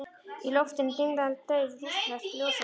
Í loftinu dinglaði dauf rússnesk ljósakróna.